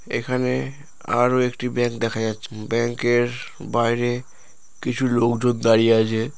এখানে আরও একটি ব্যাঙ্ক দেখা যাচ্ছে ব্যাংক এর বাইরে কিছু লোকজন দাঁড়িয়ে আছে।